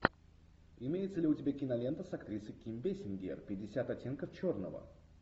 имеется ли у тебя кинолента с актрисой ким бейсингер пятьдесят оттенков черного